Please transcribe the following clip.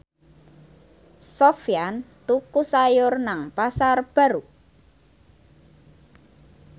Sofyan tuku sayur nang Pasar Baru